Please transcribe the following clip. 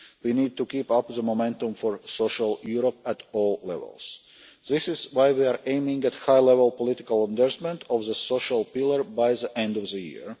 We need to keep up the momentum for social Europe at all levels. This is why we are aiming at high-level political endorsement of the social pillar by the end of the year.